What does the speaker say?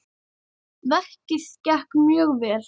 Verkið gekk mjög vel.